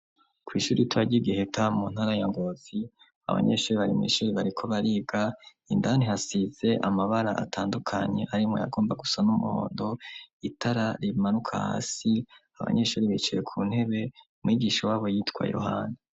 kw' ishuri ritoya ryigiheta mu ntara ya ngovi abanyeshuri barimu ishuri bariko bariga indani hasize amabara atandukanye arimo yagomba gusa n'umuhondo itara rimanuka hasi abanyeshuri bicaye ku ntebe mwigisho w'abo yitwa yohana